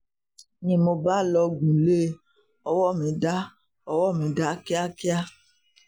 ni mo bá lọgun lé e ọwọ́ mi dá owó mi dá kíákíá